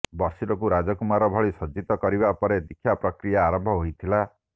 ବର୍ଷିଲଙ୍କୁ ରାଜକୁମାର ଭଳି ସଜ୍ଜିତ କରିବା ପରେ ଦୀକ୍ଷା ପ୍ରକିୟା ଆରମ୍ଭ ହୋଇଥିଲା